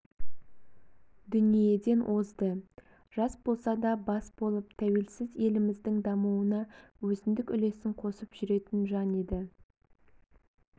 дүниеден озды жас болсада бас болып тәуелсіз еліміздің дамуына өзіндік үлесін қосып жүретін жан еді